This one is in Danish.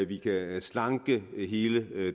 vi kan slanke hele